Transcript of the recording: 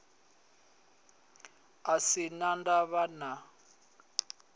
a sin a ndavha na